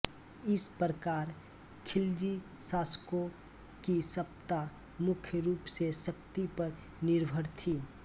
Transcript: इस प्रकार ख़िलजी शासकों की सत्ता मुख्य रूप से शक्ति पर निर्भर थी